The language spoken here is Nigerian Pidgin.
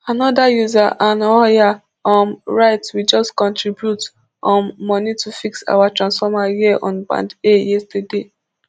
anoda user anyoha um write we just contribute um money to fix our transformer here on band a yesterday